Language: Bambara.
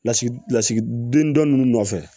Lasigi lasigiden dɔ ninnu nɔfɛ